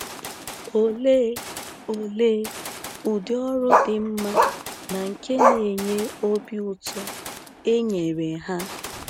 Olee Olee ụdị ọrụ dị mma na nke n'enye obi ụtọ e nyere ha!